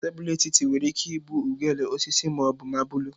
Tebụl etiti nwere ike ịbụ ugegbe, osisi ma ọ bụ mabụlụ.